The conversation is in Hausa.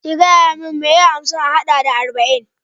Ka gayamin mai ye hamsin a haɗa da arba'in?